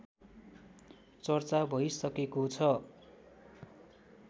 चर्चा भइसकेको छ